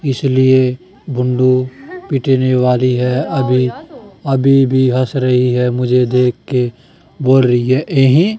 इसलिए बुंडू पीटने वाली है अभी अभी भी हंस रही है मुझे देखके बोल रही है ए हें।